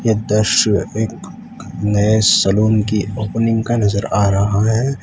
दृश्य एक नए सलून की ओपनिंग का नज़र आ रहा है।